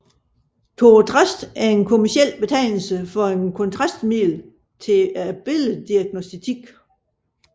Thorotrast er en kommerciel betegnelse for et kontrastmiddel til billeddiagnostik